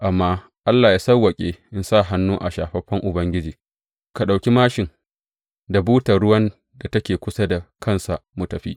Amma Allah yă sawwaƙa in sa hannu a shafaffen Ubangiji, ka ɗauki māshin da butar ruwan da take kusa da kansa mu tafi.